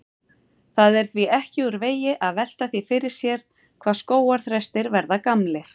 Það er því ekki úr vegi að velta því fyrir sér hvað skógarþrestir verða gamlir.